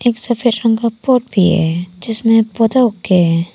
एक सफेद रंग का पॉट भी है जिसमें पौधा उगे हैं।